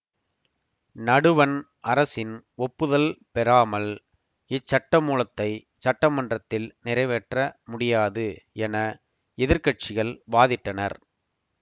நடுவண் அரசின் ஒப்புதல் பெறாமல் இச்சட்டமூலத்தை சட்டமன்றத்தில் நிறைவேற்ற முடியாது என எதிர் கட்சிகள் வாதிட்டனர்